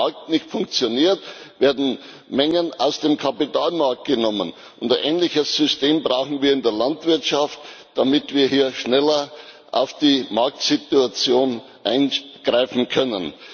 Wenn dieser Markt nicht funktioniert, werden Mengen aus dem Kapitalmarkt genommen. Ein ähnliches System brauchen wir in der Landwirtschaft, damit wir hier schneller in die Marktsituation eingreifen können.